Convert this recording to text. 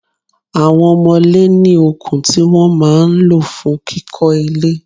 Àwọn omole ní okùn tí wọ́n máa ń lọ fún kíkó ilé.